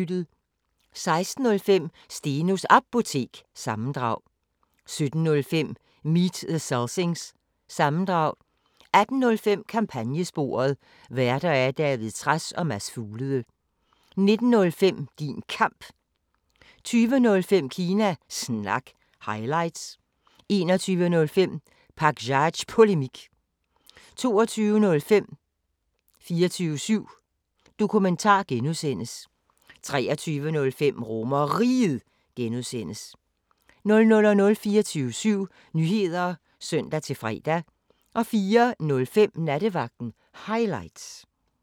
16:05: Stenos Apotek – sammendrag 17:05: Meet The Selsings – sammendrag 18:05: Kampagnesporet: Værter: David Trads og Mads Fuglede 19:05: Din Kamp 20:05: Kina Snak – highlights 21:05: Pakzads Polemik 22:05: 24syv Dokumentar (G) 23:05: RomerRiget (G) 00:00: 24syv Nyheder (søn-fre) 04:05: Nattevagten Highlights